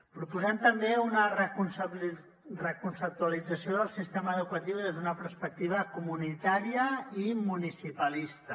proposem també una reconceptualització del sistema educatiu des d’una perspectiva comunitària i municipalista